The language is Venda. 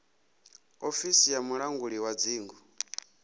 ofisi ya mulangi wa dzingu